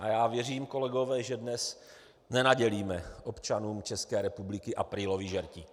A já věřím, kolegové, že dnes nenadělíme občanům České republiky aprílový žertík.